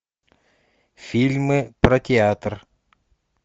фильмы про театр